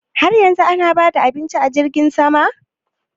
Har yanzu ana ba da abincin a jirgin sama?